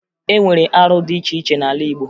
E nwere arụ dị iche iche n'ala Igbo